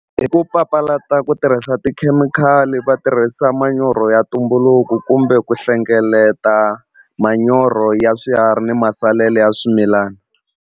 Hi ku papalata ku tirhisa tikhemikhali va tirhisa manyoro ya ntumbuluko kumbe ku hlengeleta manyoro ya swiharhi ni masalela ya swimilana.